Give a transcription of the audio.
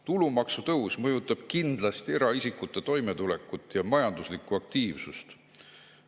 Tulumaksu tõus mõjutab kindlasti eraisikute toimetulekut ja majanduslikku aktiivsust.